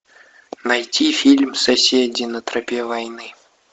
найти фильм соседи на тропе войны